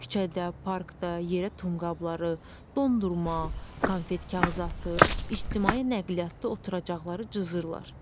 Küçədə, parkda yerə tum qabları, dondurma, konfet kağızı atır, ictimai nəqliyyatda oturacaqları cızırlar.